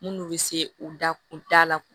Minnu bɛ se u da kun da la